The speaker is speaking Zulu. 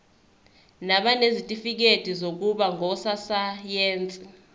nabanezitifikedi zokuba ngososayense